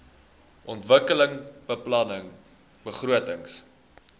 ontwikkelingsbeplanningbegrotings